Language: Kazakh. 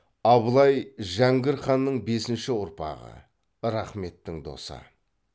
абылай жәңгір ханның бесінші ұрпағы рахметтің досы